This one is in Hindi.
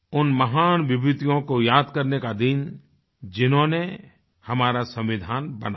उन महान विभूतियों को याद करने का दिन जिन्होंने हमारा संविधान बनाया